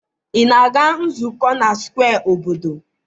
ị na-aga nzukọ na square obodo?